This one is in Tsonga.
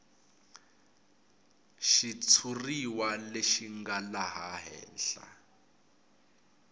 xitshuriwa lexi nga laha henhla